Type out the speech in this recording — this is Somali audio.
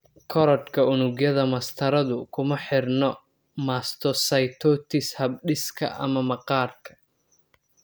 Korodhka unugyada mastaradu kuma xidhna mastocytosis habdhiska ama maqaarka.